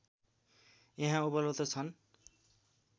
यहाँ उपलब्ध छन्